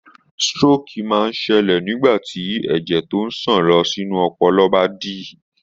Stroke máa ń ṣẹlẹ̀ nígbà tí ẹ̀jẹ̀ tí ń sàn lọ sínú ọpọlọ bá dí.